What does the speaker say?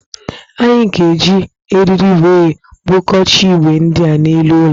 Anyị ga-eji eriri wee bugocha igwe ndi a n'elu ụlọ